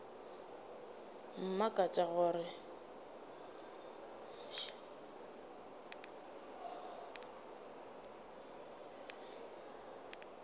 mmakatša ke gore batho ba